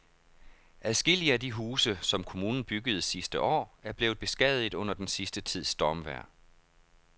Adskillige af de huse, som kommunen byggede sidste år, er blevet beskadiget under den sidste tids stormvejr.